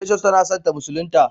precious ta na son ta musulinta.